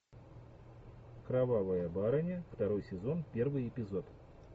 кровавая барыня второй сезон первый эпизод